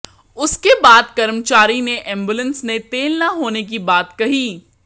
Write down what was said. उसके बाद कर्मचारी ने एम्बुलेंस ने तेल न होने की बात कही